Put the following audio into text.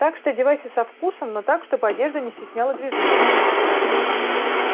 так что одевайся со вкусом но так чтобы одежда не стесняла движение